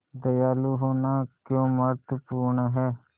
दयालु होना क्यों महत्वपूर्ण है